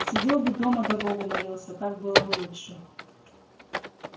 сидел бы дома да богу молился так было бы лучше